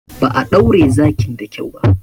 Ba a ɗaure zakin da kyau ba.